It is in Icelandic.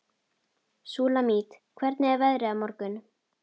Súlamít, hvernig er veðrið á morgun?